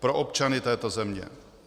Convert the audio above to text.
Pro občany této země.